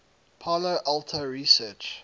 palo alto research